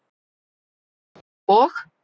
net og.